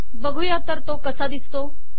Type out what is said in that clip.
बघुया तर तो कसा दिसतो